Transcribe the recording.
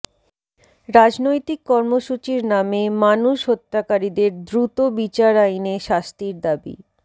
রাজনৈতিক কর্মসূচির নামে মানুষ হত্যাকারীদের দ্রুত বিচার আইনে শাস্তির দাবি